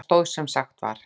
Það stóð sem sagt var.